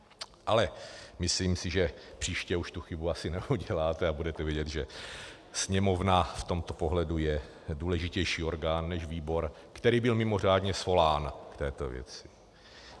Ale myslím si, že příště už tu chybu asi neuděláte a budete vědět, že Sněmovna v tomto pohledu je důležitější orgán než výbor, který byl mimořádně svolán k této věci.